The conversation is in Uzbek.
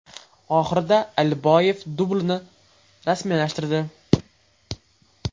Oxirida Aliboyev dublini rasmiylashtirdi.